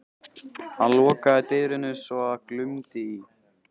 Hann lokaði dyrunum svo að glumdi í.